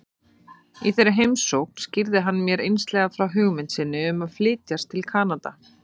Í þeirri heimsókn skýrði hann mér einslega frá hugmynd sinni um að flytjast til Kanada.